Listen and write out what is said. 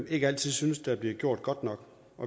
ikke altid synes bliver gjort godt nok